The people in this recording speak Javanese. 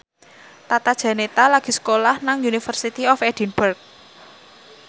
Tata Janeta lagi sekolah nang University of Edinburgh